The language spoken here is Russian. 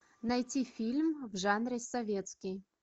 найти фильм в жанре советский